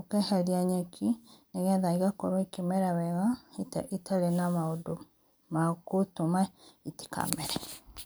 ũkaeherĩa nyekĩ nĩ getha ĩgakorwo ĩkĩmera wega ĩtarĩ na maũndũ magũtũma itikamere.